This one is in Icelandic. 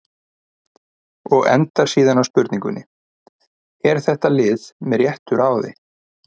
Og endar síðan á spurningunni: Er þetta lið með réttu ráði?